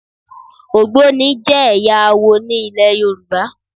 Ògbóni jẹ́ ẹ̀yà awo ní ilẹ̀ Yorùbá.